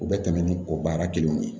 U bɛ tɛmɛ ni o baara kelenw de ye